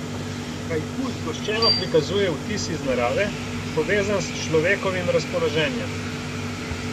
Haiku zgoščeno prikazuje vtis iz narave, povezan s človekovim razpoloženjem.